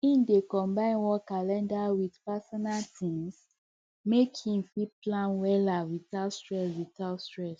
e dey combine work calender with personal things make e fit plan wella without stress without stress